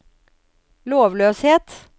lovløshet